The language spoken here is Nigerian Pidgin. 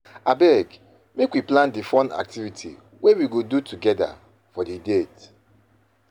Abeg make we plan di fun activity wey we go do togeda for di date.